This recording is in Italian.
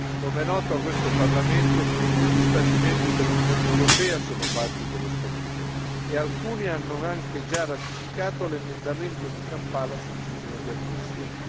Com'è noto a questo Parlamento, tutti gli Stati membri dell'Unione europea sono parti dello Statuto e alcuni hanno anche già ratificato l'emendamento di Kampala sul crimine di aggressione.